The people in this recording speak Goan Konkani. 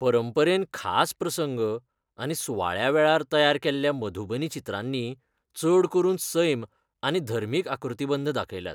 परंपरेन खास प्रसंग आनी सुवाळ्या वेळार तयार केल्ल्या मधुबनी चित्रांनी चड करून सैम आनी धर्मीक आकृतीबंध दाखयल्यात.